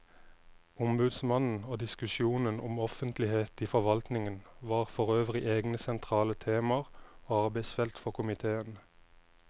Ombudsmannen og diskusjonen om offentlighet i forvaltningen var forøvrig egne sentrale temaer og arbeidsfelt for komiteen.